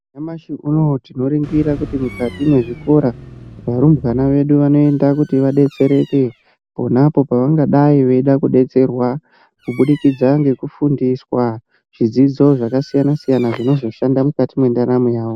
Nyamashi unowu tinoona kuti mukati mezvikora varumbwana vedu Vanoenda kuti vadetsereke pona apo pavangadai veida kudetserwa kuburikidza nekufundiswa zvidzidzo zvakasiyana siyana zvinozoshanda mukati mwendaramo yawo.